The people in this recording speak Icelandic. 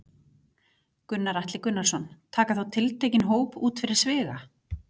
Gunnar Atli Gunnarsson: Taka þá tiltekinn hóp út fyrir sviga?